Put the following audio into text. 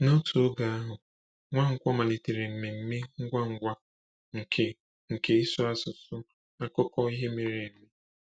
N’otu oge ahụ, Nwankwo malitere mmemme ngwa ngwa nke nke ịsụ asụsụ akụkọ ihe mere eme.